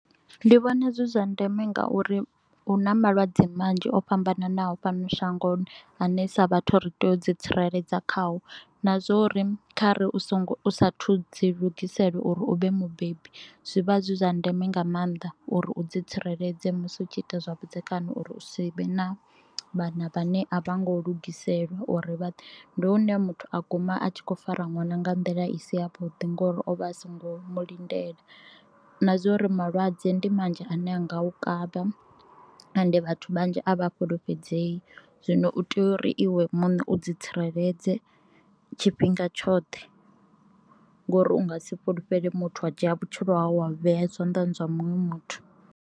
Ndi vhona zwi zwa ndeme ngauri hu na malwadze manzhi o fhambananaho fhano shangoni ane sa vhathu ri tea u dzi tsireledza khao, na zwa uri kha ri u songo u sa athu dzi lugisela uri uvhe mubebi zwivha zwi zwa ndeme nga maanḓa uri u dzi tsireledze musi u tshi ita zwavhudzekani, uri u si vhe na vhana vhane a vha ngo lugiselwa uri ndi hune muthu a guma a tshi kho fara ṅwana nga nḓila i si ya vhuḓi ngori ovha a songo mu lindela na zwa uri malwadze ndi manzhi ane a nga u kavha ende vhathu vhanzhi a vha a fhulufhedzei zwino u tea uri iwe muṋe u dzi tsireledze tshifhinga tshoṱhe ngori unga si fhulufhele muthu wa dzhia vhutshilo hau wa vhea zwanḓani zwa munwe muthu.